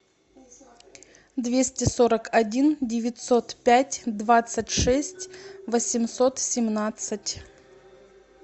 двести сорок один девятьсот пять двадцать шесть восемьсот семнадцать